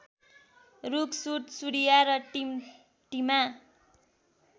रूख सुडसुडिया र टिमटिमा